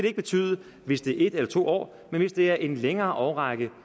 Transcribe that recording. ikke betyde hvis det er en eller to år men hvis det er en længere årrække